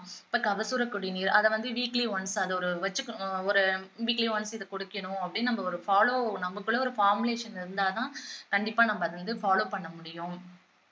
இப்போ கபசுர குடிநீர் அதைவந்து weekly once அதோட வச்சிக்கணும் ஒரு weekly once இதை குடிக்கணும் அப்படின்னு நம்ம ஒரு follow நமக்குள்ள ஒரு formulation இருந்தாதான் கண்டிப்பா நம்ம அதை வந்து follow பண்ணமுடியும்